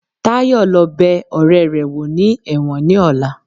Tayo lo bè oréré wo ní ẹwọ́n ní ọla